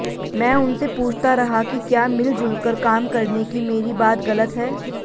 मैं उनसे पूछता रहा कि क्या मिलजुलकर काम करने की मेरी बात गलत है